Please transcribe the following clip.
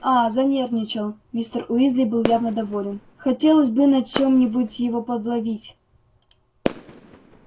а занервничал мистер уизли был явно доволен хотелось бы на чём-нибудь его подловить